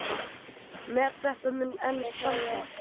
Met þetta mun enn standa.